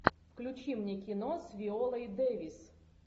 включи мне кино с виолой дэвис